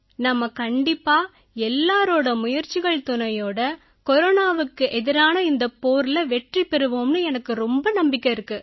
நாம கண்டிப்பா எல்லாரோட முயற்சிகள் துணையோட கொரோனாவுக்கு எதிரான இந்தப் போர்ல வெற்றி பெறுவோம்னு எனக்கும் ரொம்ப நம்பிக்கை இருக்கு